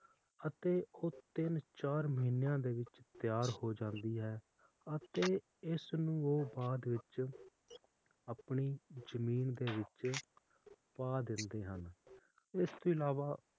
ਅਤੇ ਉਹ ਤਿੰਨ ਚਾਰ ਮਹੀਨਿਆਂ ਵਿਚ ਤਿਆਰ ਹੋ ਜਾਂਦੀ ਹੈ ਅਤੇ ਇਸ ਨੂੰ ਉਹ ਬਾਅਦ ਵਿਚ ਆਪਣੀ ਜਮੀਨ ਦੇ ਵਿਚ ਪਾ ਦਿੰਦੇ ਹਨ ਇਸ ਦੇ ਅਲਾਵਾ